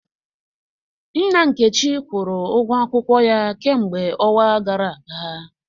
Nna Nkechi kwụrụ ụgwọ akwụkwọ ya kemgbe ọnwa gara aga